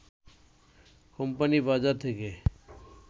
company বাজার থেকে